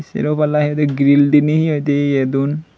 sero palla he hoide grill diney he hoi de ye don.